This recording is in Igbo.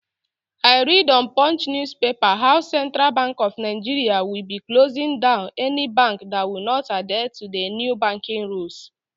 I read on punch news paper how central bank of Nigeria will be closing down any bank that will not adhere to the new banking rules